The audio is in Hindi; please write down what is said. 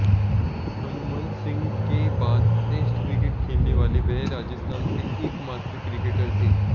हनुमंत सिंह के बाद टेस्ट क्रिकेट खेलने वाले वह राजस्थान से एकमात्र क्रिकेटर थे